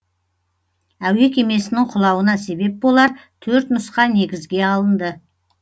әуе кемесінің құлауына себеп болар төрт нұсқа негізге алынды